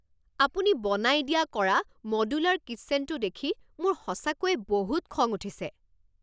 আপুনি বনাই দিয়া কৰা মডুলাৰ কিচ্ছেনটো দেখি মোৰ সঁচাকৈয়ে বহুত খং উঠিছে।